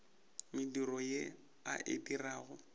mediro ye a e dirago